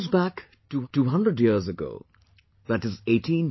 This goes back 200 years ago, i